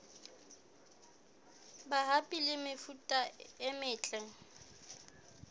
mabapi le mefuta e metle